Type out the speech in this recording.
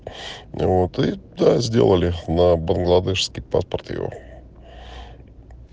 ну вот и да сделали на бангладешский паспорт его